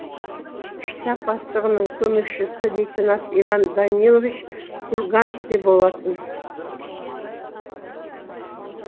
штаб бастығының көмекшісі лейтенант иван данилович курганский болатын